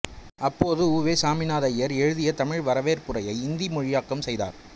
அப்போது உ வே சாமிநாதையர் எழுதிய தமிழ் வரவேற்புரையை இந்தி மொழியாக்கம் செய்தார்